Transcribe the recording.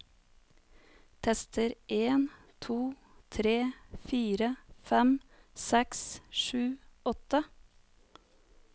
Tester en to tre fire fem seks sju åtte